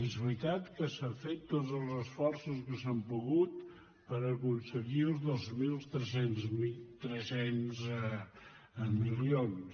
és veritat que s’han fet tots els esforços que s’ha pogut per aconseguir els dos mil tres cents milions